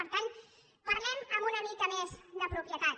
per tant parlem amb una mica més de propietat